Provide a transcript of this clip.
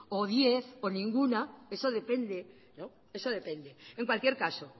o diez o ninguna eso depende eso depende en cualquier caso